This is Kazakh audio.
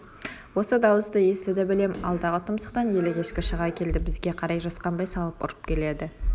осы дауысты естіді білем алдағы тұмсықтан елік ешкі шыға келді бізге қарай жасқанбай салып ұрып келеді